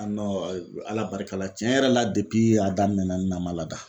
Ala barika la tiɲɛ yɛrɛ la a daminɛ na ma lada.